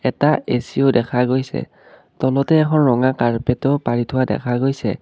এটা এ_চি ও দেখা গৈছে তলতে এখন ৰঙা কাৰ্পেটো পাৰি থোৱা দেখা গৈছে